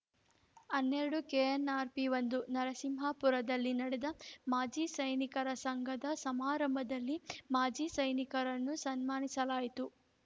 ಹನ್ನೆರಡು ಕೆಎನ್‌ಆರ್‌ಪಿ ಒಂದು ನರಸಿಂಹರಾಜಪುರದಲ್ಲಿ ನಡೆದ ಮಾಜಿ ಸೈನಿಕರ ಸಂಘದ ಸಮಾರಂಭದಲ್ಲಿ ಮಾಜಿ ಸೈನಿಕರನ್ನು ಸನ್ಮಾನಿಸಲಾಯಿತು